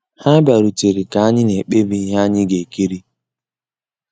Há bìàrùtérè ká ànyị́ ná-èkpébí íhé ànyị́ gà-èkírí.